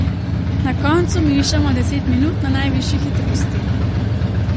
Na koncu mešamo deset minut na najvišji hitrosti.